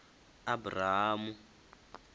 abrahamu